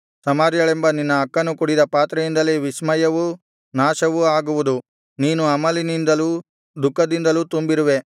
ಸಮಾರ್ಯಳೆಂಬ ನಿನ್ನ ಅಕ್ಕನು ಕುಡಿದ ಪಾತ್ರೆಯಿಂದಲೇ ವಿಸ್ಮಯವೂ ನಾಶವೂ ಆಗುವುದು ನೀನು ಅಮಲಿನಿಂದಲೂ ದುಃಖದಿಂದಲೂ ತುಂಬಿರುವೆ